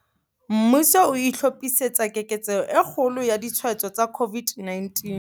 Mmuso o itlhophisetsa keketseho e kgolo ya ditshwaetso tsa COVID-19